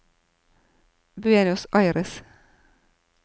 Buenos Aires